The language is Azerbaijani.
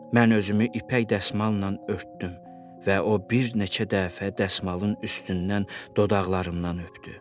Mən özümü ipək dəsmalla örtdüm və o bir neçə dəfə dəsmalın üstündən dodaqlarımdan öpdü.